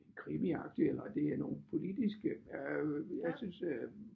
Krimiagtige eller det er nogle politiske øh jeg synes øh